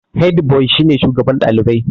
Hediboi shi ne shugaban ɗalibai.